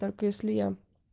так если я